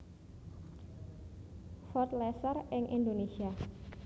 Ford Laser ing Indonesia